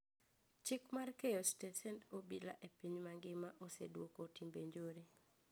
Chik mar keyo stesend obila e piny magima oseduoko timbe njore